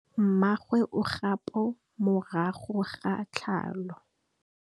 Mmagwe o kgapô morago ga tlhalô.